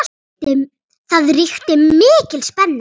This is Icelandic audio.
Það ríkti mikil spenna.